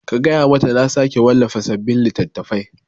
Ka gaya mata na sake wallafa sabin littattafai